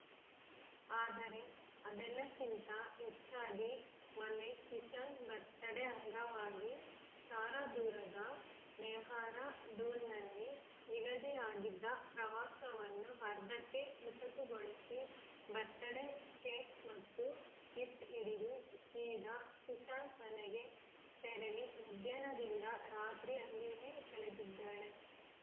ಆದರೆ ಅದೆಲ್ಲಕ್ಕಿಂತ ಹೆಚ್ಚಾಗಿ ಮೊನ್ನೆ ಸುಶಾಂತ್‌ ಬರ್ತಡೇ ಅಂಗವಾಗಿ ಸಾರಾ ದೂರದ ಡೆಹ್ರಾಡೂನ್‌ನಲ್ಲಿ ನಿಗದಿಯಾಗಿದ್ದ ಪ್ರವಾಸವನ್ನು ಅರ್ಧಕ್ಕೆ ಮೊಟಕುಗೊಳಿಸಿ ಬತ್‌ರ್‍ಡೇ ಕೇಕ್‌ ಮತ್ತು ಗಿಫ್ಟ್‌ ಹಿಡಿದು ಸೀದಾ ಸುಶಾಂತ್‌ ಮನೆಗೆ ತೆರಳಿ ಮಧ್ಯಾಹ್ನದಿಂದ ರಾತ್ರಿ ಅಲ್ಲಿಯೇ ಕಳೆದಿದ್ದಾಳೆ